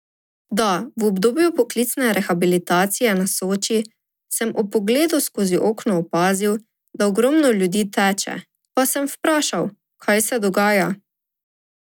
Da, v obdobju poklicne rehabilitacije na Soči sem ob pogledu skozi okno opazil, da ogromno ljudi teče, pa sem vprašal, kaj se dogaja.